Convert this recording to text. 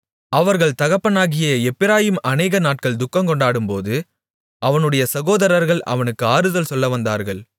அவர்கள் தகப்பனாகிய எப்பிராயீம் அநேக நாட்கள் துக்கங்கொண்டாடும்போது அவனுடைய சகோதரர்கள் அவனுக்கு ஆறுதல் சொல்லவந்தார்கள்